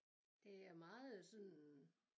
Det er meget sådan